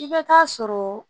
I bɛ taa sɔrɔ